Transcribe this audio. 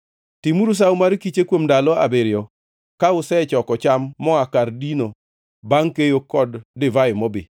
Timuru Sawo mar kiche kuom ndalo abiriyo ka usechoko cham moa kar dino bangʼ keyo kod divai mobi.